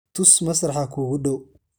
tus masraxa kuugu dhow